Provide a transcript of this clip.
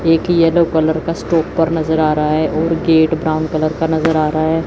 एक yellow colour का stopper नजर आ रहा है और गेट ब्राउन कलर का नजर आ रहा है।